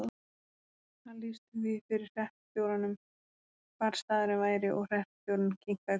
Hann lýsti því fyrir hreppstjóranum hvar staðurinn væri og hreppstjórinn kinkaði kolli.